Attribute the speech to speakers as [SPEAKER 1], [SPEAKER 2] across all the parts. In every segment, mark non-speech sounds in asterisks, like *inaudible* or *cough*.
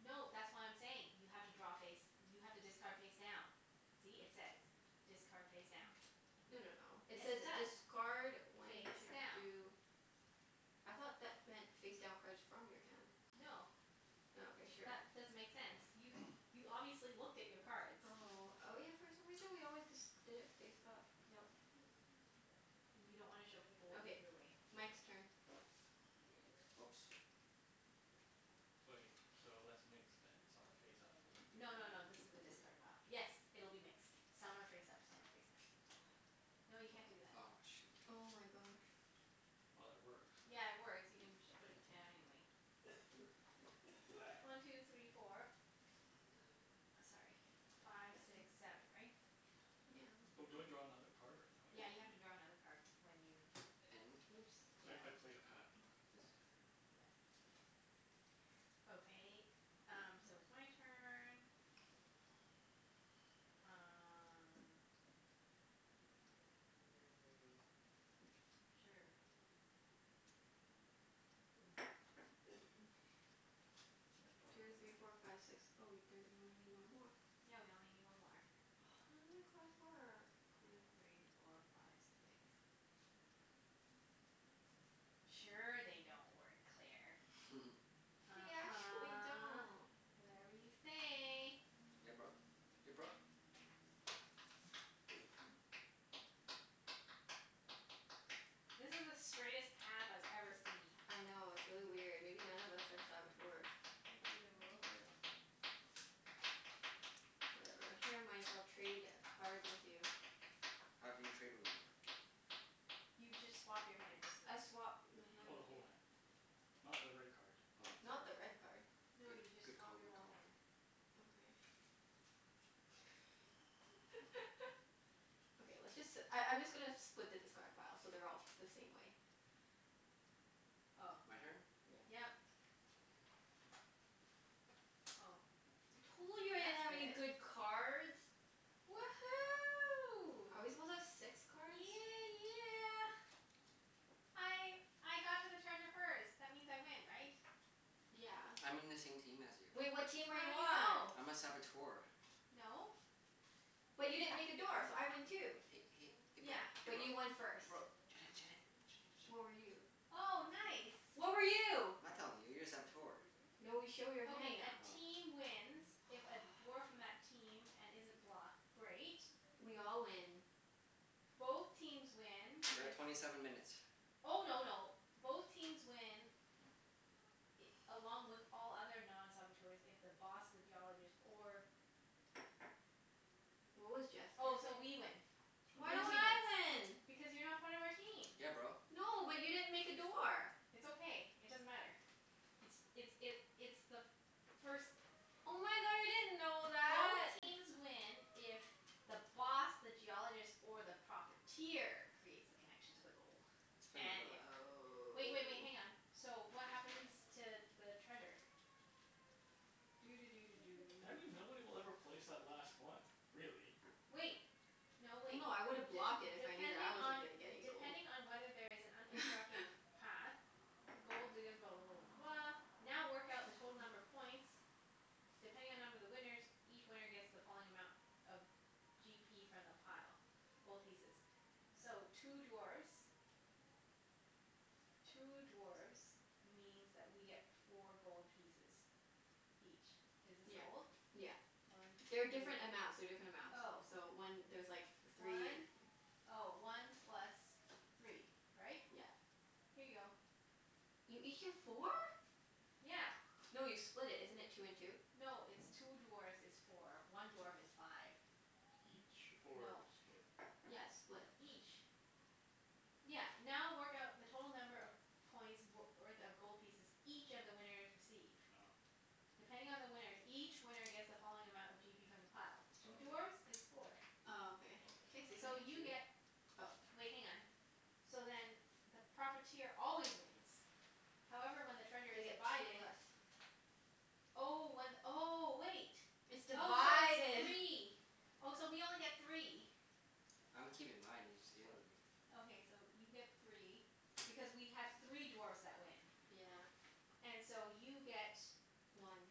[SPEAKER 1] No, that's what I'm saying. You have to draw face, you have to discard face down. See? It says, "Discard face down."
[SPEAKER 2] No no no, it
[SPEAKER 1] Yes,
[SPEAKER 2] says
[SPEAKER 1] it does.
[SPEAKER 2] discard when
[SPEAKER 1] Face
[SPEAKER 2] to
[SPEAKER 1] down.
[SPEAKER 2] do I thought that meant face down cards from your hand.
[SPEAKER 1] No.
[SPEAKER 2] Oh, okay. Sure.
[SPEAKER 1] That doesn't make sense. You
[SPEAKER 3] *noise*
[SPEAKER 1] you obviously looked at your cards.
[SPEAKER 2] Oh, oh yeah for some reason we always disc- did it face up.
[SPEAKER 1] Nope. Cuz you don't wanna show people what you
[SPEAKER 2] Okay,
[SPEAKER 1] threw away.
[SPEAKER 2] Mike's turn.
[SPEAKER 4] Oops.
[SPEAKER 3] Wait, so that's mixed then. Some are face up, some of them
[SPEAKER 1] No no no,
[SPEAKER 3] are face down.
[SPEAKER 1] this is the discard pile. Yes, it'll be mixed. Some are face up, some are face down.
[SPEAKER 3] Oh.
[SPEAKER 1] No, you can't do that.
[SPEAKER 4] Aw, shoot.
[SPEAKER 2] Oh my gosh.
[SPEAKER 3] Well, it works, so
[SPEAKER 1] Yeah, it works. You can just put it down anyway. One two three four.
[SPEAKER 4] *noise*
[SPEAKER 1] Sorry, five six seven, right?
[SPEAKER 2] Yeah.
[SPEAKER 3] Oh, do I draw another card, or no,
[SPEAKER 1] Yeah,
[SPEAKER 3] I
[SPEAKER 1] you have to
[SPEAKER 3] don't?
[SPEAKER 1] draw another card when you
[SPEAKER 4] And
[SPEAKER 1] Oops, yeah.
[SPEAKER 3] Cuz I I played a path.
[SPEAKER 4] This.
[SPEAKER 1] Yep. Okay, um, so it's my turn.
[SPEAKER 4] *noise*
[SPEAKER 1] Um Sure.
[SPEAKER 3] I draw
[SPEAKER 2] Two three four
[SPEAKER 3] another *inaudible*
[SPEAKER 2] five six. Oh wait, there, you only need one more.
[SPEAKER 1] Yeah, we only need one more.
[SPEAKER 2] *noise* None of my cards work.
[SPEAKER 1] Two three four five six. Sure they don't work, Claire.
[SPEAKER 4] *laughs*
[SPEAKER 2] They actually
[SPEAKER 1] uh-huh.
[SPEAKER 2] don't.
[SPEAKER 1] Whatever you say.
[SPEAKER 4] Yeah, bro. Ya bro?
[SPEAKER 1] This is the straightest path I've ever seen.
[SPEAKER 2] I know, it's really weird. Maybe none of us are Saboteurs.
[SPEAKER 1] Can I see the rules?
[SPEAKER 4] Oh yeah.
[SPEAKER 2] Whatever. Here Mike, I'll trade a cards with you.
[SPEAKER 4] How can you trade with me?
[SPEAKER 1] You just swap your hands.
[SPEAKER 2] I swap my hand
[SPEAKER 3] Oh, the
[SPEAKER 2] with
[SPEAKER 3] whole
[SPEAKER 2] you.
[SPEAKER 3] hand. Not the red card.
[SPEAKER 4] Oh,
[SPEAKER 2] Not the
[SPEAKER 4] sorry.
[SPEAKER 2] red card.
[SPEAKER 1] No,
[SPEAKER 4] Good
[SPEAKER 1] you just
[SPEAKER 4] good
[SPEAKER 1] swap
[SPEAKER 4] call.
[SPEAKER 1] your
[SPEAKER 4] Good
[SPEAKER 1] whole
[SPEAKER 4] call.
[SPEAKER 1] hand.
[SPEAKER 2] Okay. *laughs* Okay, let's just si- I I'm just gonna split the discard pile so they're all the same way.
[SPEAKER 1] Oh.
[SPEAKER 4] My turn?
[SPEAKER 2] Yeah.
[SPEAKER 1] Yep.
[SPEAKER 2] *noise*
[SPEAKER 1] Oh.
[SPEAKER 2] Told you I didn't have any
[SPEAKER 1] That's good.
[SPEAKER 2] good cards.
[SPEAKER 1] Woohoo.
[SPEAKER 2] Are we supposed to have six cards?
[SPEAKER 1] Yeah yeah! I I got to the treasure first. That means I win, right?
[SPEAKER 2] Yeah.
[SPEAKER 4] I'm in the same team as you.
[SPEAKER 2] Well, what team are you
[SPEAKER 1] How do you
[SPEAKER 2] on?
[SPEAKER 1] know?
[SPEAKER 4] I'm a Saboteur.
[SPEAKER 1] No.
[SPEAKER 2] But you didn't make a door, so I win
[SPEAKER 4] Hey
[SPEAKER 2] too.
[SPEAKER 4] hey hey bro
[SPEAKER 1] Yeah.
[SPEAKER 4] hey
[SPEAKER 2] But
[SPEAKER 4] bro
[SPEAKER 2] you won first.
[SPEAKER 4] hey bro Junette Junette Junette
[SPEAKER 2] What were you?
[SPEAKER 4] Junette
[SPEAKER 1] Oh, nice.
[SPEAKER 3] *inaudible*
[SPEAKER 2] What were you?
[SPEAKER 4] I'm not telling you. You're a Saboteur.
[SPEAKER 2] No, we show your hand
[SPEAKER 1] Okay, a
[SPEAKER 2] now.
[SPEAKER 4] Oh.
[SPEAKER 1] team wins if a dwarf from that
[SPEAKER 2] *noise*
[SPEAKER 1] team, and isn't blocked Great.
[SPEAKER 2] We all win.
[SPEAKER 1] Both teams win
[SPEAKER 4] We're at
[SPEAKER 1] if
[SPEAKER 4] twenty seven minutes.
[SPEAKER 1] Oh no no, both teams win i- along with all other non-saboteurs if the Boss, the Geologist, or
[SPEAKER 2] What was Jeff's
[SPEAKER 1] Oh,
[SPEAKER 2] character?
[SPEAKER 1] so we win.
[SPEAKER 4] *noise*
[SPEAKER 2] Why
[SPEAKER 1] Blue
[SPEAKER 2] don't
[SPEAKER 1] team wins.
[SPEAKER 3] *inaudible*
[SPEAKER 2] I win?
[SPEAKER 1] Because you're not part of our team.
[SPEAKER 4] Yeah, bro.
[SPEAKER 2] No, but you didn't make a door.
[SPEAKER 1] It's okay. It doesn't matter. It's it's it it's the first
[SPEAKER 2] Oh my god, I didn't know
[SPEAKER 1] Both
[SPEAKER 2] that! *noise*
[SPEAKER 1] teams win if the Boss, the Geologist, or the Profiteer creates the connection to the gold.
[SPEAKER 4] Let's play
[SPEAKER 1] And
[SPEAKER 4] another
[SPEAKER 1] if,
[SPEAKER 4] round.
[SPEAKER 1] wait wait wait, hang on.
[SPEAKER 2] Oh.
[SPEAKER 1] So, what happens to the treasure? Doo doo doo doo
[SPEAKER 3] Do I
[SPEAKER 1] doo.
[SPEAKER 3] mean nobody will ever place that last one, really.
[SPEAKER 1] Wait! No,
[SPEAKER 2] No
[SPEAKER 1] wait.
[SPEAKER 2] no, I
[SPEAKER 1] D-
[SPEAKER 2] woulda blocked it if I knew that I
[SPEAKER 1] depending
[SPEAKER 2] wasn't
[SPEAKER 1] on
[SPEAKER 2] gonna get any gold.
[SPEAKER 1] depending on whether there is an uninterrupted
[SPEAKER 2] *laughs*
[SPEAKER 1] path, the gold diggers blah blah blah blah blah now work out the total number of points depending on number of the winners each winner gets the following amount of g p from the pile. Gold pieces. So, two dwarfs two dwarfs means that we get four gold pieces. Each. Is this
[SPEAKER 2] Yeah.
[SPEAKER 1] gold?
[SPEAKER 2] Yeah.
[SPEAKER 1] One two
[SPEAKER 2] They're different amounts. They're different amounts.
[SPEAKER 1] Oh.
[SPEAKER 2] So one, there's like three and
[SPEAKER 1] One, oh, one plus three. Right?
[SPEAKER 2] Yeah.
[SPEAKER 1] Here you go.
[SPEAKER 2] You each get four?
[SPEAKER 1] Yeah.
[SPEAKER 2] No, you split it. Isn't it two and two?
[SPEAKER 1] No, it's two dwarfs is four. One dwarf is five.
[SPEAKER 3] Each? Or
[SPEAKER 1] No.
[SPEAKER 3] split?
[SPEAKER 2] Yeah, it's split.
[SPEAKER 1] Each. Yeah, now work out the total number of points w- worth of gold pieces each of the winners receive.
[SPEAKER 3] Oh.
[SPEAKER 1] Depending on the winners, each winner gets the following amount of g p from the pile.
[SPEAKER 3] Oh
[SPEAKER 1] Two
[SPEAKER 3] okay.
[SPEAKER 1] dwarfs is four.
[SPEAKER 2] Oh, okay. Can
[SPEAKER 3] Okay,
[SPEAKER 2] I see
[SPEAKER 3] and I
[SPEAKER 1] So
[SPEAKER 2] something?
[SPEAKER 3] get
[SPEAKER 1] you
[SPEAKER 3] two?
[SPEAKER 1] get
[SPEAKER 2] Oh.
[SPEAKER 1] Wait, hang on. So then the Profiteer always wins. However, when the treasure
[SPEAKER 2] They
[SPEAKER 1] is
[SPEAKER 2] get two
[SPEAKER 1] divided.
[SPEAKER 2] less.
[SPEAKER 1] Oh, one, oh, wait.
[SPEAKER 2] It's
[SPEAKER 1] Oh, so it's
[SPEAKER 2] divided.
[SPEAKER 1] three. Oh, so we only get three.
[SPEAKER 4] I'm keeping mine. You just gave them
[SPEAKER 3] What?
[SPEAKER 4] to me.
[SPEAKER 1] Okay, so you get three. Because we have three dwarfs that win.
[SPEAKER 2] Yeah.
[SPEAKER 1] And so you get
[SPEAKER 2] One.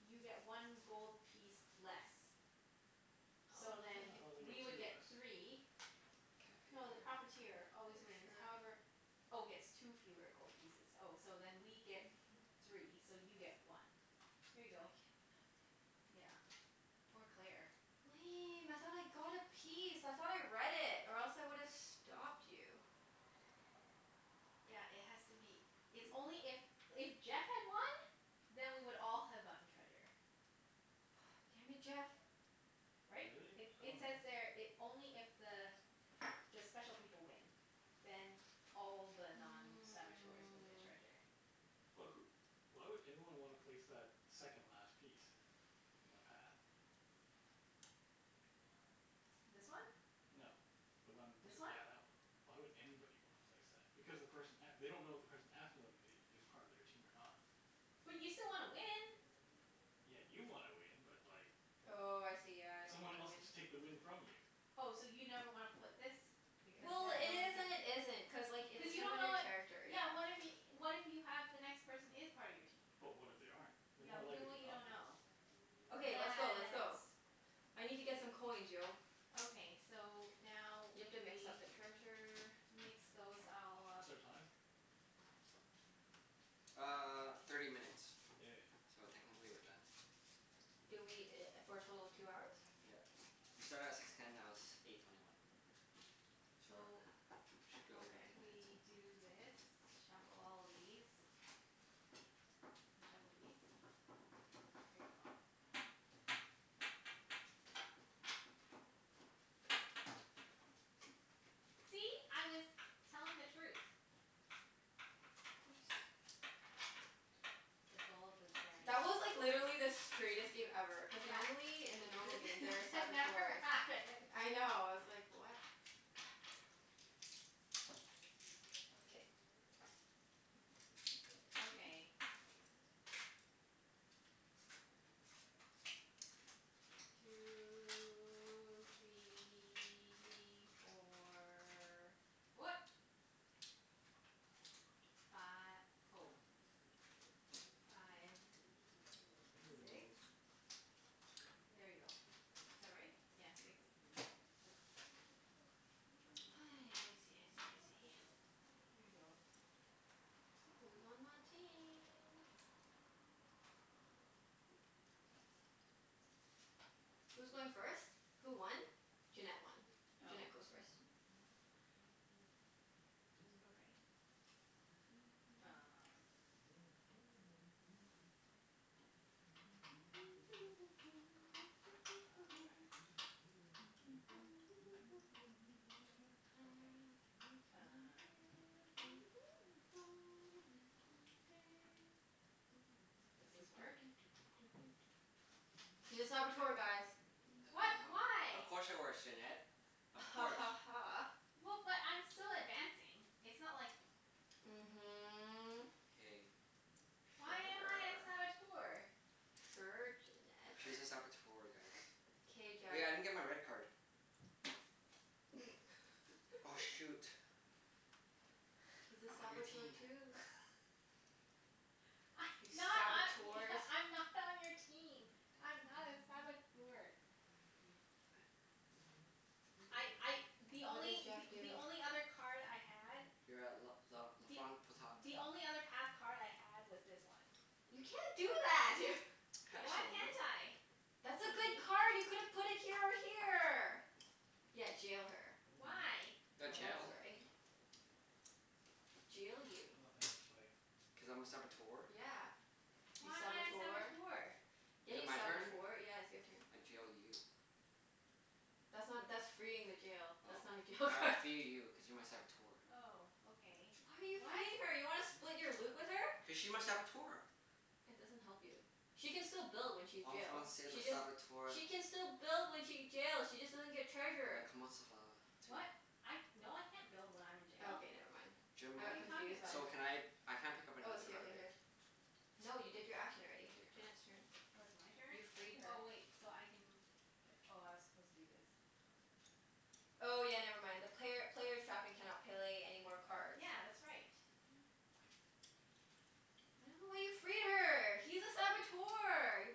[SPEAKER 1] you get one gold piece less.
[SPEAKER 3] What?
[SPEAKER 1] So
[SPEAKER 2] Oh, how do
[SPEAKER 1] then,
[SPEAKER 3] I thought they get
[SPEAKER 1] we
[SPEAKER 2] you
[SPEAKER 3] two
[SPEAKER 1] would
[SPEAKER 2] get
[SPEAKER 1] get
[SPEAKER 2] t-
[SPEAKER 3] less.
[SPEAKER 1] three
[SPEAKER 4] Can I
[SPEAKER 1] No, the
[SPEAKER 3] What?
[SPEAKER 4] cut your hair,
[SPEAKER 1] Profiteer
[SPEAKER 4] Claire?
[SPEAKER 1] always wins,
[SPEAKER 2] Sure.
[SPEAKER 1] however Oh, gets two fewer gold pieces Oh, so then we get three, so you get one. Here you
[SPEAKER 2] I get
[SPEAKER 1] go.
[SPEAKER 2] nothing.
[SPEAKER 1] Yeah. Poor Claire.
[SPEAKER 2] Lame, I thought I got a piece. I thought I read it. Or else I would've stopped you.
[SPEAKER 1] Yeah, it has to be, it's only
[SPEAKER 3] *noise*
[SPEAKER 1] if, if Jeff had won then we would all have gotten treasure.
[SPEAKER 2] Ah, damn it, Jeff!
[SPEAKER 1] Right?
[SPEAKER 3] Really?
[SPEAKER 1] It
[SPEAKER 3] I
[SPEAKER 1] it says
[SPEAKER 3] dunno.
[SPEAKER 1] there it, only if the the special people win then all the
[SPEAKER 4] *noise*
[SPEAKER 1] non-saboteurs will get
[SPEAKER 2] Mm.
[SPEAKER 1] treasure.
[SPEAKER 3] But wh- why would anyone wanna place
[SPEAKER 2] *noise*
[SPEAKER 3] that
[SPEAKER 4] *noise*
[SPEAKER 3] second last piece? In the path?
[SPEAKER 1] This
[SPEAKER 2] *noise*
[SPEAKER 1] one?
[SPEAKER 3] No. The one t-
[SPEAKER 1] This one?
[SPEAKER 3] yeah, that one. Why would anybody wanna place that? Because the person a- they don't know if the person after them i- is part of their team or not.
[SPEAKER 1] But you still wanna win.
[SPEAKER 3] Yeah, you wanna win, but like
[SPEAKER 2] Oh, I see. Yeah. I don't get
[SPEAKER 3] someone
[SPEAKER 2] to
[SPEAKER 3] else could
[SPEAKER 2] win.
[SPEAKER 3] just take the win from you.
[SPEAKER 1] Oh, so you never wanna put this because
[SPEAKER 2] Well,
[SPEAKER 1] then
[SPEAKER 2] it
[SPEAKER 1] no one
[SPEAKER 2] is
[SPEAKER 1] can
[SPEAKER 2] and it isn't. Cuz like, it
[SPEAKER 1] Cuz you
[SPEAKER 2] depends
[SPEAKER 1] don't
[SPEAKER 2] on
[SPEAKER 1] know
[SPEAKER 2] your
[SPEAKER 1] what
[SPEAKER 2] character,
[SPEAKER 1] Yeah,
[SPEAKER 2] yeah.
[SPEAKER 1] what if y- what if you have the next person is part of your team?
[SPEAKER 3] But what if they aren't? They're
[SPEAKER 1] Yeah,
[SPEAKER 3] more
[SPEAKER 1] well y-
[SPEAKER 3] likely
[SPEAKER 1] well
[SPEAKER 3] to
[SPEAKER 1] you
[SPEAKER 3] not
[SPEAKER 1] don't
[SPEAKER 3] be.
[SPEAKER 1] know.
[SPEAKER 2] Okay, let's go. Let's
[SPEAKER 1] Yes.
[SPEAKER 2] go. I need to get some
[SPEAKER 1] Wait.
[SPEAKER 2] coins, yo.
[SPEAKER 1] Okay. So, now
[SPEAKER 2] You
[SPEAKER 1] we
[SPEAKER 2] have to mix up the treasure.
[SPEAKER 1] mix those all up.
[SPEAKER 3] What's our time?
[SPEAKER 4] Uh, thirty minutes.
[SPEAKER 3] Yay.
[SPEAKER 4] So technically we're done.
[SPEAKER 2] Did we i- for a total of two hours?
[SPEAKER 4] Yeah. We started at six ten, now it's eight twenty one. So
[SPEAKER 1] So,
[SPEAKER 4] we should be over
[SPEAKER 2] Okay.
[SPEAKER 4] ten minutes.
[SPEAKER 1] we do this. Shuffle all of these. And shuffle these. Here you go. See? I was telling the truth.
[SPEAKER 2] Of course.
[SPEAKER 1] The gold was
[SPEAKER 2] That was like,
[SPEAKER 1] *inaudible*
[SPEAKER 2] literally the straightest game ever. Cuz
[SPEAKER 1] Yeah.
[SPEAKER 2] normally, in the normal game
[SPEAKER 1] This
[SPEAKER 2] there are
[SPEAKER 1] *laughs* that never
[SPEAKER 2] Saboteurs.
[SPEAKER 1] happens. *laughs*
[SPEAKER 2] I know. I was like, what? K. *noise*
[SPEAKER 1] Okay. Two three four. What? Fi- oh. Five.
[SPEAKER 3] Bending the
[SPEAKER 1] Six?
[SPEAKER 3] rules.
[SPEAKER 1] There you go.
[SPEAKER 4] *noise*
[SPEAKER 1] Is that right? Yeah, six.
[SPEAKER 2] *noise* I see, I see, I see.
[SPEAKER 1] Here you go.
[SPEAKER 2] Who's on my team? Who's going first? Who won? Junette won.
[SPEAKER 1] Oh.
[SPEAKER 2] Junette goes first.
[SPEAKER 4] *noise* *noise*
[SPEAKER 1] Okay. Um Oh, rats.
[SPEAKER 2] *noise* I've
[SPEAKER 1] Okay,
[SPEAKER 2] been
[SPEAKER 1] uh
[SPEAKER 2] working on the railroad, all the live long day. Doo
[SPEAKER 1] Does
[SPEAKER 2] doo
[SPEAKER 1] this
[SPEAKER 2] doo
[SPEAKER 1] work?
[SPEAKER 2] doo doo doo doo doo. She's a Saboteur, guys.
[SPEAKER 4] *noise* H- we
[SPEAKER 1] What?
[SPEAKER 4] h- of
[SPEAKER 1] Why?
[SPEAKER 4] course it works, Junette. Of
[SPEAKER 2] Ha
[SPEAKER 4] course.
[SPEAKER 2] ha ha.
[SPEAKER 1] Well, but I'm still advancing. It's not like
[SPEAKER 2] Mhm.
[SPEAKER 4] *noise* K. *noise*
[SPEAKER 1] Why am I a
[SPEAKER 2] Sure.
[SPEAKER 1] Saboteur?
[SPEAKER 2] Sure, Junette.
[SPEAKER 4] She's a Saboteur, guys.
[SPEAKER 1] *laughs*
[SPEAKER 2] K, Jeff.
[SPEAKER 4] Hey, I didn't get my red card. Oh. Oh
[SPEAKER 2] *laughs*
[SPEAKER 4] shoot.
[SPEAKER 2] He's a
[SPEAKER 4] I'm on your
[SPEAKER 2] Saboteur
[SPEAKER 4] team.
[SPEAKER 2] too.
[SPEAKER 1] *laughs* I
[SPEAKER 2] You
[SPEAKER 1] not I
[SPEAKER 2] Saboteurs.
[SPEAKER 1] e- I'm not on your team. I'm not a Saboteur.
[SPEAKER 3] This
[SPEAKER 1] I
[SPEAKER 3] is
[SPEAKER 1] I,
[SPEAKER 3] really
[SPEAKER 1] the
[SPEAKER 3] confusing.
[SPEAKER 2] What did
[SPEAKER 1] only
[SPEAKER 2] Jeff
[SPEAKER 1] th- the
[SPEAKER 2] do?
[SPEAKER 1] only other card I had
[SPEAKER 4] You're at l- l- la
[SPEAKER 1] Th-
[SPEAKER 4] front potat.
[SPEAKER 1] the only other path card I had was this one.
[SPEAKER 2] You can't do that!
[SPEAKER 4] You can't
[SPEAKER 1] Why
[SPEAKER 2] *laughs*
[SPEAKER 4] show me.
[SPEAKER 1] can't I?
[SPEAKER 2] That's a
[SPEAKER 1] See?
[SPEAKER 2] good card! You could have put it here or here! Yeah, jail her.
[SPEAKER 3] Mm.
[SPEAKER 1] Why?
[SPEAKER 3] I
[SPEAKER 4] *noise* You got
[SPEAKER 2] That's
[SPEAKER 4] jailed.
[SPEAKER 3] dunno.
[SPEAKER 4] *noise*
[SPEAKER 2] right. Jail you.
[SPEAKER 3] I've nothing else to play.
[SPEAKER 4] Cuz I'm a Saboteur.
[SPEAKER 2] Yeah. You
[SPEAKER 1] Why am I a
[SPEAKER 2] Saboteur.
[SPEAKER 1] Saboteur?
[SPEAKER 4] *noise*
[SPEAKER 2] Yeah,
[SPEAKER 4] Is it
[SPEAKER 2] you
[SPEAKER 4] my turn?
[SPEAKER 2] Saboteur. Yeah, it's your turn.
[SPEAKER 4] I jail you.
[SPEAKER 2] That's not, that's freeing the jail.
[SPEAKER 4] Oh.
[SPEAKER 2] That's not a jail
[SPEAKER 4] All right, I
[SPEAKER 2] card.
[SPEAKER 4] free you cuz you're my Saboteur.
[SPEAKER 1] Oh, okay.
[SPEAKER 2] Why are you
[SPEAKER 1] What?
[SPEAKER 2] freeing her? You wanna split your loot with her?
[SPEAKER 4] Cuz she's my Saboteur.
[SPEAKER 2] That doesn't help you. She can still build when she's
[SPEAKER 4] En
[SPEAKER 2] jail.
[SPEAKER 4] Français, le
[SPEAKER 2] She just
[SPEAKER 4] Saboteur.
[SPEAKER 2] She can still build when she get jail she just doesn't get
[SPEAKER 4] Le
[SPEAKER 2] treasure.
[SPEAKER 4] comment ça va tu?
[SPEAKER 1] What? I, no I can't build when I'm in jail.
[SPEAKER 2] Okay, never mind. I
[SPEAKER 4] Jim
[SPEAKER 1] What are
[SPEAKER 2] got
[SPEAKER 1] you talking
[SPEAKER 2] confused there.
[SPEAKER 4] so
[SPEAKER 1] about?
[SPEAKER 4] can I I can't pick up
[SPEAKER 2] I was
[SPEAKER 4] another
[SPEAKER 2] here
[SPEAKER 4] card,
[SPEAKER 2] here
[SPEAKER 4] right?
[SPEAKER 2] here. No, you did your action already.
[SPEAKER 4] K.
[SPEAKER 2] Junette's turn.
[SPEAKER 1] Oh, it's my
[SPEAKER 2] You
[SPEAKER 1] turn?
[SPEAKER 2] freed her.
[SPEAKER 1] Oh, wait, so I can p- oh, I was supposed to do this.
[SPEAKER 2] Oh yeah, never mind. The player player's trapped and cannot play any more cards.
[SPEAKER 1] Yeah, that's right.
[SPEAKER 2] I don't know why you free her. He's a Saboteur, you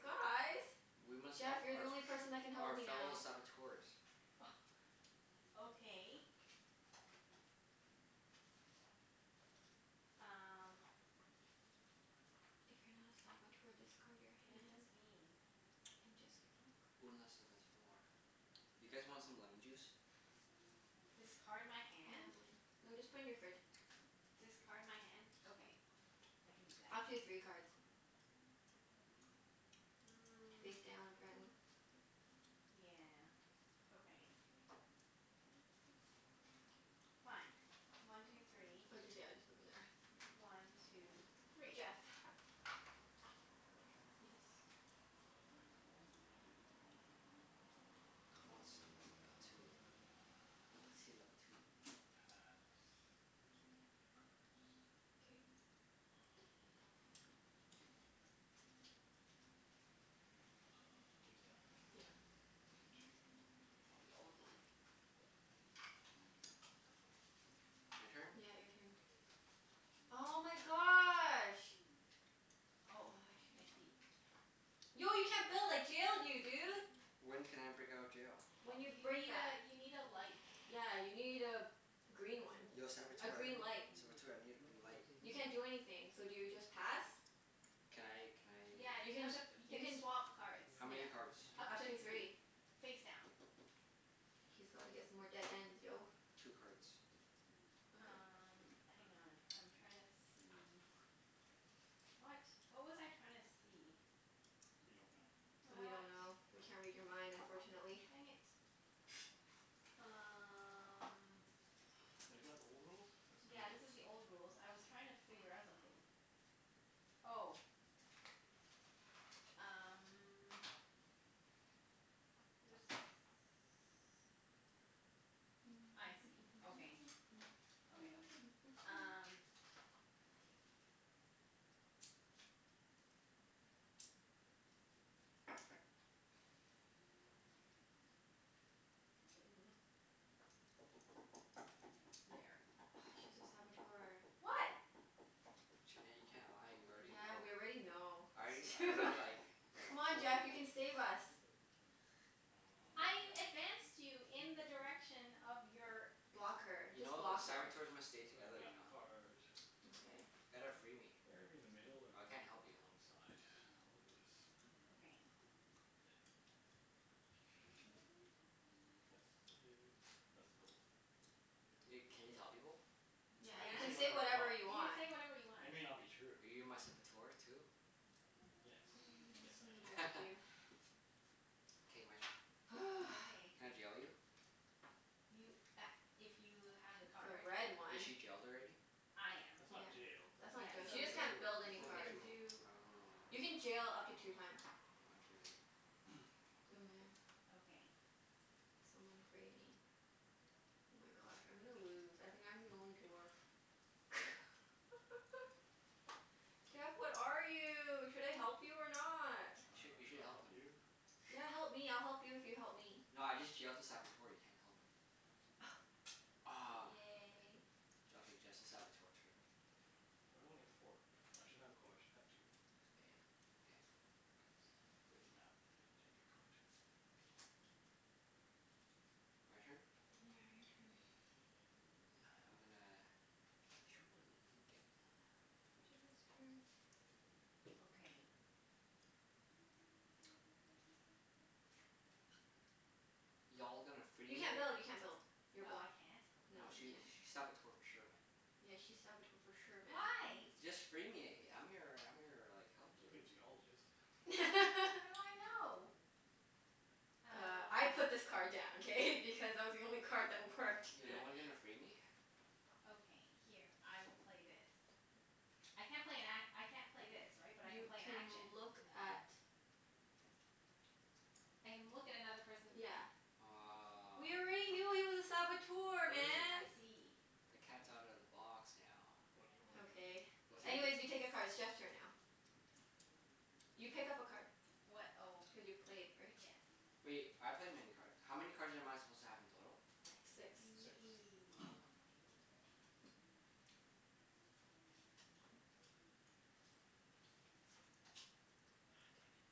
[SPEAKER 2] guys!
[SPEAKER 4] We must help
[SPEAKER 2] Jeff, you're the
[SPEAKER 4] our
[SPEAKER 2] only person that can
[SPEAKER 4] f-
[SPEAKER 2] help
[SPEAKER 4] our
[SPEAKER 2] me
[SPEAKER 4] fellow
[SPEAKER 2] now.
[SPEAKER 1] *laughs*
[SPEAKER 4] Saboteurs.
[SPEAKER 1] Oh, okay. Um
[SPEAKER 2] If you're not a Saboteur, discard your
[SPEAKER 1] What does this
[SPEAKER 2] hand.
[SPEAKER 1] mean?
[SPEAKER 2] And just get more
[SPEAKER 4] *noise* Une a
[SPEAKER 2] cards.
[SPEAKER 4] Saboteur. You guys want some lemon juice? *noise* K.
[SPEAKER 1] Discard my
[SPEAKER 2] I have
[SPEAKER 1] hand?
[SPEAKER 2] mine. No, just put in your fridge.
[SPEAKER 1] Discard my hand? Okay. I can do that.
[SPEAKER 2] Up to three cards.
[SPEAKER 1] Mm.
[SPEAKER 2] Face down, apparently.
[SPEAKER 1] Yeah, okay. Fine. One two three.
[SPEAKER 2] Oh just, yeah, just put them there.
[SPEAKER 1] One two three.
[SPEAKER 2] Jeff.
[SPEAKER 4] *noise*
[SPEAKER 3] My turn?
[SPEAKER 2] Yes.
[SPEAKER 3] Uh, did I draw one? I did. On.
[SPEAKER 4] *noise* Comment ça va la patou.
[SPEAKER 3] Uh
[SPEAKER 4] La patit la patou.
[SPEAKER 3] I'm gonna pass. Just getting rid of cards.
[SPEAKER 2] K.
[SPEAKER 3] Um, hmm. Uh, face down, right?
[SPEAKER 2] Yeah.
[SPEAKER 3] One two
[SPEAKER 1] It's the
[SPEAKER 3] three.
[SPEAKER 1] old one. This one?
[SPEAKER 4] *noise* My turn?
[SPEAKER 2] Yeah, your turn. Oh my gosh. Oh,
[SPEAKER 1] Oh,
[SPEAKER 2] I
[SPEAKER 1] I
[SPEAKER 2] should've
[SPEAKER 1] see.
[SPEAKER 2] Yo, you can't build! I jailed you, dude!
[SPEAKER 4] *noise* When can I break out of jail?
[SPEAKER 2] When you
[SPEAKER 1] You
[SPEAKER 2] break
[SPEAKER 1] need
[SPEAKER 2] that.
[SPEAKER 1] a, you need a light.
[SPEAKER 2] Yeah, you need a green one.
[SPEAKER 4] Yo
[SPEAKER 2] A
[SPEAKER 4] Saboteur,
[SPEAKER 2] green light.
[SPEAKER 4] Saboteur, I need a green light.
[SPEAKER 2] You can't do anything. So do you just pass?
[SPEAKER 4] Can I can I
[SPEAKER 1] Yeah,
[SPEAKER 2] You
[SPEAKER 1] you
[SPEAKER 2] can,
[SPEAKER 1] have to p- you
[SPEAKER 2] you
[SPEAKER 1] can
[SPEAKER 2] can
[SPEAKER 1] swap cards.
[SPEAKER 4] How
[SPEAKER 2] Yeah.
[SPEAKER 4] many cards?
[SPEAKER 1] Up
[SPEAKER 2] Up
[SPEAKER 1] to
[SPEAKER 2] to three.
[SPEAKER 1] three. Face down.
[SPEAKER 2] He's gotta get some more dead ends, yo.
[SPEAKER 4] Two cards.
[SPEAKER 2] Okay.
[SPEAKER 1] Um, hang on. I'm trying to see What? What was I trying to see?
[SPEAKER 3] We don't know.
[SPEAKER 2] We
[SPEAKER 1] What?
[SPEAKER 2] don't know. We can't read your mind, unfortunately.
[SPEAKER 1] Dang it. Um
[SPEAKER 3] Wait, is that the old rules? That's new
[SPEAKER 1] Yeah, this is
[SPEAKER 3] rules.
[SPEAKER 1] the old rules. I was trying to figure out something.
[SPEAKER 4] *noise*
[SPEAKER 1] Oh. Um This, I see. Okay. Okay, okay. Um
[SPEAKER 2] *noise*
[SPEAKER 1] Okay. Mm. There.
[SPEAKER 2] Ah, she's a Saboteur.
[SPEAKER 1] What?
[SPEAKER 4] Junette, you can't lie. We already
[SPEAKER 2] Yeah,
[SPEAKER 4] know.
[SPEAKER 2] we already know.
[SPEAKER 4] I
[SPEAKER 2] It's too
[SPEAKER 4] I do
[SPEAKER 1] Wha-
[SPEAKER 4] like, like
[SPEAKER 2] Come on
[SPEAKER 4] told
[SPEAKER 2] Jeff, you
[SPEAKER 4] people.
[SPEAKER 2] can save us.
[SPEAKER 1] *laughs* I
[SPEAKER 3] Mm.
[SPEAKER 1] advanced you in the direction of your
[SPEAKER 2] Block her.
[SPEAKER 4] You
[SPEAKER 2] Just
[SPEAKER 4] know,
[SPEAKER 2] block her.
[SPEAKER 4] Saboteurs must stay
[SPEAKER 3] I play a
[SPEAKER 4] together, you
[SPEAKER 3] map
[SPEAKER 4] know?
[SPEAKER 3] card.
[SPEAKER 2] Okay.
[SPEAKER 4] Ya gotta free me.
[SPEAKER 3] Better to be in the middle or
[SPEAKER 4] I
[SPEAKER 3] better
[SPEAKER 4] can't
[SPEAKER 3] to be
[SPEAKER 4] help
[SPEAKER 3] on
[SPEAKER 4] you.
[SPEAKER 3] the one side? I'll look at this. Mm.
[SPEAKER 1] Okay.
[SPEAKER 3] It This is, that's the gold.
[SPEAKER 4] *noise* Wait, can you tell people?
[SPEAKER 1] Y-
[SPEAKER 2] Yeah,
[SPEAKER 3] I
[SPEAKER 2] you
[SPEAKER 1] yeah.
[SPEAKER 3] can
[SPEAKER 1] You
[SPEAKER 2] can
[SPEAKER 3] say
[SPEAKER 1] can
[SPEAKER 2] say
[SPEAKER 1] say
[SPEAKER 3] whatever
[SPEAKER 2] whatever
[SPEAKER 3] I
[SPEAKER 2] you
[SPEAKER 3] want.
[SPEAKER 2] want.
[SPEAKER 1] whatever you want.
[SPEAKER 3] It may not be true.
[SPEAKER 4] Are you my Saboteur too?
[SPEAKER 3] Yes.
[SPEAKER 2] *noise*
[SPEAKER 3] Yes,
[SPEAKER 2] Guess I'm gonna
[SPEAKER 3] I am.
[SPEAKER 4] *noise*
[SPEAKER 2] block you. *noise*
[SPEAKER 4] *laughs* K, my turn.
[SPEAKER 2] *noise*
[SPEAKER 1] Okay.
[SPEAKER 4] Can I jail you?
[SPEAKER 1] You a- if you have the
[SPEAKER 2] The
[SPEAKER 1] card.
[SPEAKER 2] red
[SPEAKER 4] Is
[SPEAKER 2] one.
[SPEAKER 4] she jailed already?
[SPEAKER 1] I am.
[SPEAKER 3] That's not
[SPEAKER 2] Yeah.
[SPEAKER 3] jailed. That
[SPEAKER 2] That's
[SPEAKER 3] You broke
[SPEAKER 1] Yeah.
[SPEAKER 2] not jail.
[SPEAKER 1] So
[SPEAKER 2] She just
[SPEAKER 1] you
[SPEAKER 3] a
[SPEAKER 1] can,
[SPEAKER 2] can't
[SPEAKER 3] tool.
[SPEAKER 2] build
[SPEAKER 3] You
[SPEAKER 2] any
[SPEAKER 1] you
[SPEAKER 3] broke a
[SPEAKER 2] cards.
[SPEAKER 1] can
[SPEAKER 3] tool.
[SPEAKER 1] do
[SPEAKER 4] Oh.
[SPEAKER 2] You can jail up to two times.
[SPEAKER 4] I'll jail you.
[SPEAKER 3] *noise*
[SPEAKER 2] Mhm.
[SPEAKER 1] Okay.
[SPEAKER 2] Someone free me. Oh my gosh, I'm gonna lose. I think I'm the only dwarf. *laughs* Jeff, what are you? Should I help you or not?
[SPEAKER 4] *noise*
[SPEAKER 3] I
[SPEAKER 4] You
[SPEAKER 2] *noise*
[SPEAKER 4] sh-
[SPEAKER 3] dunno.
[SPEAKER 4] you should
[SPEAKER 3] Should I
[SPEAKER 4] help
[SPEAKER 3] help
[SPEAKER 4] him.
[SPEAKER 3] you?
[SPEAKER 2] Yeah, help me. I'll help you if you help me.
[SPEAKER 4] No, I just jailed a Saboteur. You can't help her.
[SPEAKER 2] *noise*
[SPEAKER 4] Aw.
[SPEAKER 2] Yay.
[SPEAKER 4] J- okay, just the Saboteur, true.
[SPEAKER 3] Why do I only get four? I should have, oh I should have two.
[SPEAKER 4] K.
[SPEAKER 3] More.
[SPEAKER 4] K.
[SPEAKER 3] Because I play the map and take a card.
[SPEAKER 4] *noise* My turn?
[SPEAKER 2] Yeah, your turn.
[SPEAKER 4] *noise* I'm gonna ditch one and get one.
[SPEAKER 2] Jeff has a turn.
[SPEAKER 1] Okay.
[SPEAKER 4] *noise* Y'all gonna free
[SPEAKER 2] You
[SPEAKER 4] me?
[SPEAKER 2] can't build. You can't build. You're
[SPEAKER 1] Oh, I
[SPEAKER 2] blocked.
[SPEAKER 1] can't?
[SPEAKER 2] No,
[SPEAKER 4] Nah,
[SPEAKER 2] you
[SPEAKER 4] she
[SPEAKER 2] can't.
[SPEAKER 4] sh- she's Saboteur for sure, man.
[SPEAKER 2] Yeah, she's Saboteur for sure, man.
[SPEAKER 1] Why?
[SPEAKER 4] Y- just free me. I'm your I'm your like, helper.
[SPEAKER 3] Could be a Geologist. *noise*
[SPEAKER 1] How do
[SPEAKER 2] *laughs*
[SPEAKER 1] I know?
[SPEAKER 2] Uh, I put
[SPEAKER 1] Uh
[SPEAKER 2] this card down, k? Because it was the only card that
[SPEAKER 4] *noise*
[SPEAKER 2] worked.
[SPEAKER 4] Yeah, no one gonna
[SPEAKER 2] *laughs*
[SPEAKER 4] free me?
[SPEAKER 1] Okay, here. I will play this. I can't play an a- I can't play this, right? But I can
[SPEAKER 2] You
[SPEAKER 1] play an
[SPEAKER 2] can
[SPEAKER 1] action?
[SPEAKER 2] look at
[SPEAKER 1] I can look at another person's
[SPEAKER 2] Yeah.
[SPEAKER 1] hand.
[SPEAKER 4] *noise* Aw.
[SPEAKER 2] We already knew he was a Saboteur,
[SPEAKER 3] What is he?
[SPEAKER 2] man!
[SPEAKER 1] I see.
[SPEAKER 4] *noise* The cat's outta the box now.
[SPEAKER 3] What do you want?
[SPEAKER 2] Okay.
[SPEAKER 3] What do
[SPEAKER 2] Anyways,
[SPEAKER 3] you
[SPEAKER 4] *inaudible*
[SPEAKER 2] you take a
[SPEAKER 1] He's
[SPEAKER 2] card. It's Jeff's turn now. You pick up a card.
[SPEAKER 1] What? Oh.
[SPEAKER 2] Cuz you played, right?
[SPEAKER 1] Yes.
[SPEAKER 4] *noise* Wait, I played many card, how many cards am I supposed to have in total?
[SPEAKER 1] I
[SPEAKER 2] Six.
[SPEAKER 3] Six.
[SPEAKER 1] see.
[SPEAKER 3] *noise*
[SPEAKER 4] Ah.
[SPEAKER 2] Aw, damn it.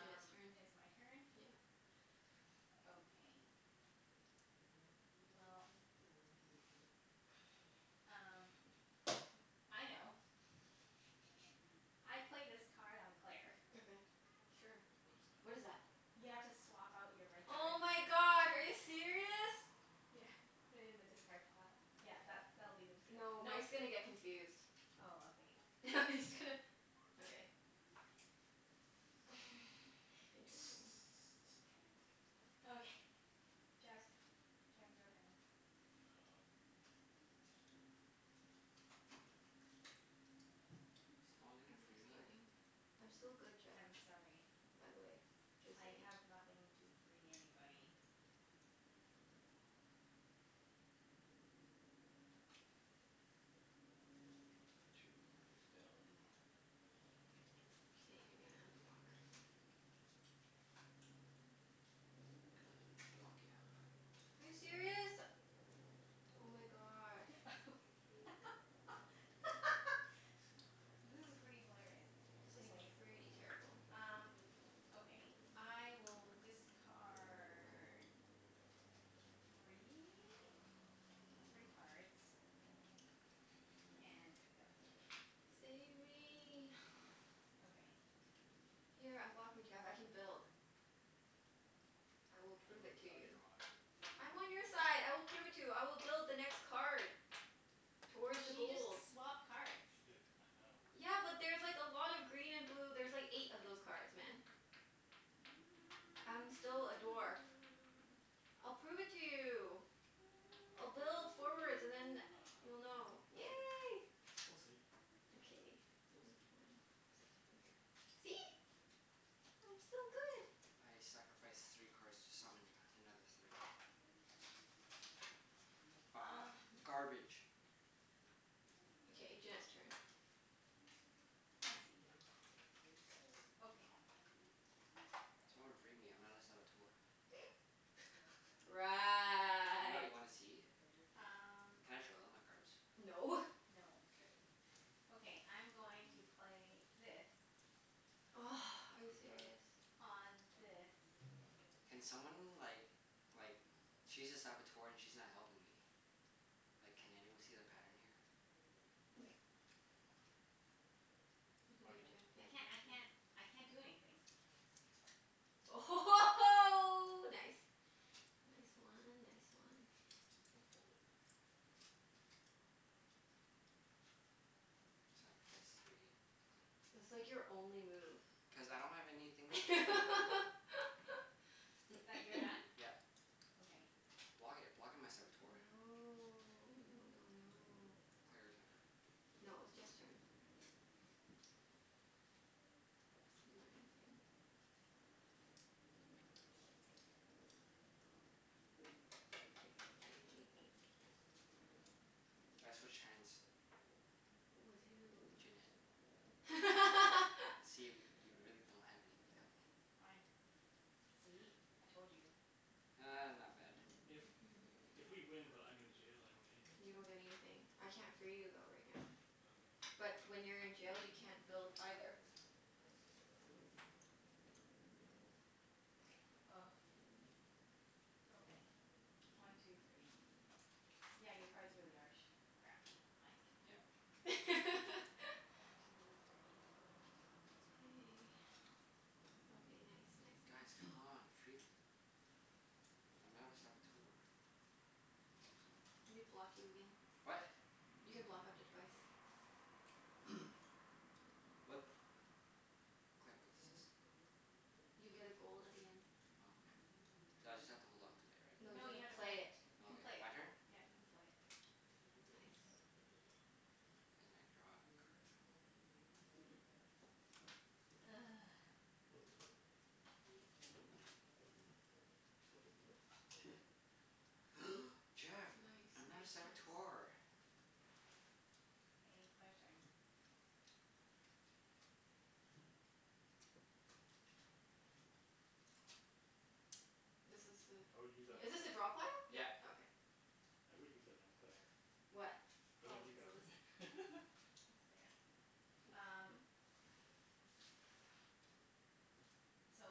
[SPEAKER 2] Junette's turn.
[SPEAKER 1] it's my turn?
[SPEAKER 2] Yeah.
[SPEAKER 1] Okay. Well,
[SPEAKER 2] *noise*
[SPEAKER 1] um m- I know. I play this card on Claire.
[SPEAKER 2] Okay, sure.
[SPEAKER 3] What is that?
[SPEAKER 2] What is that?
[SPEAKER 1] You have to swap out your red
[SPEAKER 2] Oh
[SPEAKER 1] card.
[SPEAKER 2] my god, are you serious?
[SPEAKER 1] Yeah, put it in the discard pile. Yeah, that's, that'll be the discard pile.
[SPEAKER 2] No,
[SPEAKER 1] Mike's
[SPEAKER 2] Mike's gonna get confused.
[SPEAKER 1] Oh, okay.
[SPEAKER 2] *laughs* I'm just gonna Okay. *noise*
[SPEAKER 1] *laughs*
[SPEAKER 2] Interesting.
[SPEAKER 1] *noise* Okay. Jeff's. Jeff, your turn.
[SPEAKER 3] Oh.
[SPEAKER 4] *noise* Is no one
[SPEAKER 2] Are
[SPEAKER 4] gonna
[SPEAKER 2] you
[SPEAKER 4] free me?
[SPEAKER 2] discarding? I'm still good, Jeff.
[SPEAKER 1] I'm sorry.
[SPEAKER 2] By the way. Just
[SPEAKER 1] I
[SPEAKER 2] saying.
[SPEAKER 1] have nothing to free anybody.
[SPEAKER 3] It's card two, face down. One
[SPEAKER 2] K,
[SPEAKER 3] two.
[SPEAKER 2] you're gonna unblock
[SPEAKER 4] *noise* Gonna block you.
[SPEAKER 2] Are you serious? Oh my gosh. Thank you.
[SPEAKER 1] *laughs* This is pretty hilarious.
[SPEAKER 2] This is
[SPEAKER 1] Anyways
[SPEAKER 2] pretty terrible.
[SPEAKER 1] Um, okay. I will discard three? Three cards.
[SPEAKER 4] *noise*
[SPEAKER 1] And pick up three.
[SPEAKER 2] Save me. *noise*
[SPEAKER 1] Okay.
[SPEAKER 2] Here, unblock me, Jeff. I can build. I will
[SPEAKER 3] I
[SPEAKER 2] prove
[SPEAKER 3] dunno
[SPEAKER 2] it
[SPEAKER 3] whose
[SPEAKER 2] to
[SPEAKER 3] side
[SPEAKER 2] you.
[SPEAKER 3] you're on.
[SPEAKER 2] I'm on your side. I will prove it to you. I will build the next card. Towards the
[SPEAKER 1] She just
[SPEAKER 2] gold.
[SPEAKER 1] swapped cards.
[SPEAKER 3] She did. I know.
[SPEAKER 2] Yeah, but there's like a lot of green and blue. There's like eight of those cards, man.
[SPEAKER 4] *noise*
[SPEAKER 2] I'm still a dwarf.
[SPEAKER 1] *noise*
[SPEAKER 2] I'll prove it to you. I'll build forwards and then
[SPEAKER 3] I
[SPEAKER 1] *noise*
[SPEAKER 2] you'll know.
[SPEAKER 3] dunno. We'll
[SPEAKER 2] Yay.
[SPEAKER 3] see. We'll see.
[SPEAKER 2] Okay,
[SPEAKER 3] We'll
[SPEAKER 2] which
[SPEAKER 3] see.
[SPEAKER 2] one? Is a two, here. See? I'm still good.
[SPEAKER 4] *noise* I sacrifice three cards to summon another three. Ah!
[SPEAKER 1] *noise*
[SPEAKER 2] *laughs*
[SPEAKER 4] Garbage.
[SPEAKER 2] Okay, Junette's turn.
[SPEAKER 1] I see. Okay.
[SPEAKER 4] Someone free me. I'm not a Saboteur.
[SPEAKER 2] *laughs*
[SPEAKER 4] I'm not.
[SPEAKER 2] Right.
[SPEAKER 4] You wanna see?
[SPEAKER 1] Um
[SPEAKER 4] Can I show them my cards?
[SPEAKER 2] No.
[SPEAKER 1] No.
[SPEAKER 4] K.
[SPEAKER 1] Okay, I'm going to play this.
[SPEAKER 2] *noise* Are you
[SPEAKER 3] *inaudible*
[SPEAKER 2] serious?
[SPEAKER 1] On this.
[SPEAKER 4] *noise* Can someone like like, she's a Saboteur and she's not helping me. Like, can anyone see the pattern here?
[SPEAKER 2] *laughs* You can do
[SPEAKER 3] My
[SPEAKER 2] it,
[SPEAKER 3] turn?
[SPEAKER 1] I
[SPEAKER 2] Jeff.
[SPEAKER 1] can't I
[SPEAKER 2] *inaudible*
[SPEAKER 1] can't I can't do anything.
[SPEAKER 2] Oh ho ho ho, nice! Nice one. Nice one.
[SPEAKER 3] Gonna fall over.
[SPEAKER 4] *noise* Sacrifice three.
[SPEAKER 2] It's like your only move.
[SPEAKER 4] Cuz I don't have anything free me.
[SPEAKER 2] *laughs*
[SPEAKER 1] I- that, you're done?
[SPEAKER 2] *noise*
[SPEAKER 4] Yeah.
[SPEAKER 1] Okay.
[SPEAKER 4] Block it. Block it, my Saboteur.
[SPEAKER 2] No. No no no.
[SPEAKER 4] Claire, your turn.
[SPEAKER 2] No, it was Jeff's turn. It's a money thing. One two three four five. Okay, I haven't done anything.
[SPEAKER 4] I switch hands.
[SPEAKER 2] With who?
[SPEAKER 4] Junette.
[SPEAKER 1] Okay.
[SPEAKER 4] And see
[SPEAKER 2] *laughs*
[SPEAKER 4] if y- you really don't have anything to help me.
[SPEAKER 1] Fine. See? I told you.
[SPEAKER 4] Ah, not bad.
[SPEAKER 3] If
[SPEAKER 2] *noise*
[SPEAKER 3] if we win but I'm in the jail, I don't get anything?
[SPEAKER 2] You don't get anything. I can't free you though, right now.
[SPEAKER 3] Okay.
[SPEAKER 2] But when you're in jail, you can't build, either.
[SPEAKER 1] *noise* Okay. One two three. Yeah, your cards really are sh- crappy, Mike.
[SPEAKER 4] *noise* Yep.
[SPEAKER 1] One
[SPEAKER 2] *laughs*
[SPEAKER 1] two three.
[SPEAKER 2] K.
[SPEAKER 3] K.
[SPEAKER 2] Okay, nice
[SPEAKER 4] *noise*
[SPEAKER 2] nice
[SPEAKER 4] Guys,
[SPEAKER 2] nice.
[SPEAKER 4] come
[SPEAKER 3] *noise*
[SPEAKER 4] on. Free me. I'm not a Saboteur.
[SPEAKER 2] Let me block you again.
[SPEAKER 4] What?
[SPEAKER 2] You can block up to twice.
[SPEAKER 3] *noise*
[SPEAKER 4] *noise* What? Claire, what does this do?
[SPEAKER 2] You get a gold at the end.
[SPEAKER 4] Oh, okay. So I just have to hold on to it, right?
[SPEAKER 2] No, you've
[SPEAKER 1] No, you have
[SPEAKER 2] gotta
[SPEAKER 1] to
[SPEAKER 2] play
[SPEAKER 1] play
[SPEAKER 2] it.
[SPEAKER 1] it. You
[SPEAKER 4] Oh,
[SPEAKER 1] can play
[SPEAKER 4] okay.
[SPEAKER 1] it.
[SPEAKER 4] My turn?
[SPEAKER 1] Yeah, you can play it.
[SPEAKER 2] Nice.
[SPEAKER 4] And I draw a card.
[SPEAKER 1] *noise*
[SPEAKER 3] *noise*
[SPEAKER 4] *noise* Jeff!
[SPEAKER 2] Nice nice
[SPEAKER 4] I'm not a
[SPEAKER 2] nice.
[SPEAKER 4] Saboteur.
[SPEAKER 1] K, Claire's turn.
[SPEAKER 2] This is
[SPEAKER 3] I would use that
[SPEAKER 2] a,
[SPEAKER 3] on
[SPEAKER 2] is this a drop hole?
[SPEAKER 3] Claire.
[SPEAKER 4] *noise*
[SPEAKER 1] Yeah,
[SPEAKER 4] Yep.
[SPEAKER 1] yeah.
[SPEAKER 2] Okay.
[SPEAKER 3] I would use that on Claire.
[SPEAKER 2] What?
[SPEAKER 3] But then
[SPEAKER 1] Oh,
[SPEAKER 3] you grab
[SPEAKER 1] so this
[SPEAKER 3] it. *laughs*
[SPEAKER 1] is there.
[SPEAKER 2] Use what?
[SPEAKER 1] Um So,